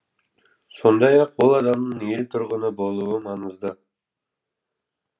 сондай ақ ол адамның ел тұрғыны болуы маңызды